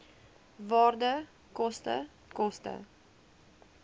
waarde koste koste